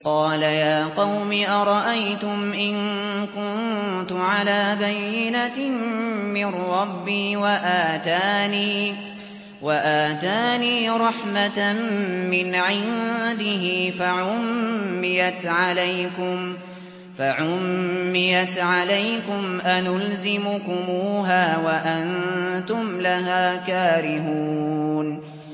قَالَ يَا قَوْمِ أَرَأَيْتُمْ إِن كُنتُ عَلَىٰ بَيِّنَةٍ مِّن رَّبِّي وَآتَانِي رَحْمَةً مِّنْ عِندِهِ فَعُمِّيَتْ عَلَيْكُمْ أَنُلْزِمُكُمُوهَا وَأَنتُمْ لَهَا كَارِهُونَ